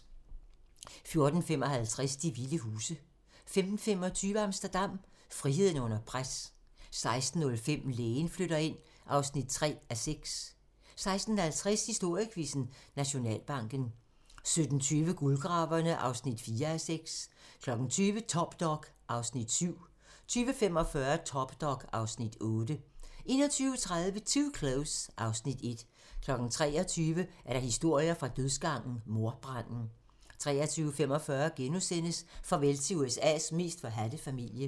14:55: De vilde huse 15:25: Amsterdam - friheden under pres 16:05: Lægen flytter ind (3:6) 16:50: Historiequizzen: Nationalbanken 17:20: Guldgraverne (4:6) 20:00: Top Dog (Afs. 7) 20:45: Top Dog (Afs. 8) 21:30: Too Close (Afs. 1) 23:00: Historier fra dødsgangen - Mordbranden 23:45: Farvel til USA's mest forhadte familie *